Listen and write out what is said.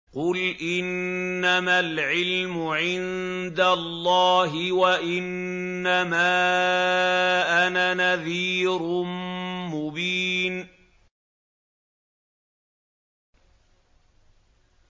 قُلْ إِنَّمَا الْعِلْمُ عِندَ اللَّهِ وَإِنَّمَا أَنَا نَذِيرٌ مُّبِينٌ